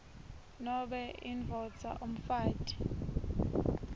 nobe indvodza umfati